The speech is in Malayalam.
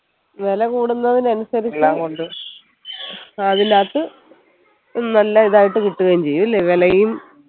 വെല കൂടുന്നതിന് അനുസരിച് അതിനകത്തു നല്ല ഇതായിട്ട് കിട്ടുകയും ചെയ്യും അല്ലെ വിലയും